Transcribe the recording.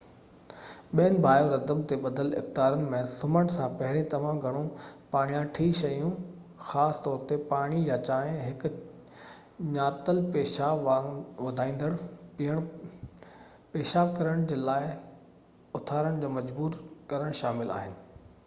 ٻين biorhythm تي ٻڌل اختيارن ۾ سمهڻ سان پهرين تمام گهڻو پاڻياٺي شيون خاص طور تي پاڻي يا چانهہ، هڪ ڃاتل پيشاب وڌايندڙ پيئڻ، پيشاب ڪرڻ جي لاءِ اٿارڻ تي مجبور ڪرڻ شامل آهن